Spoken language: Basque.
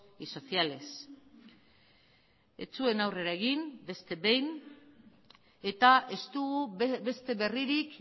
y sociales ez zuen aurrera egin beste behin eta ez dugu beste berririk